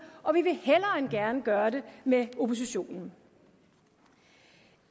og vi vil hellere end gerne gøre det med oppositionen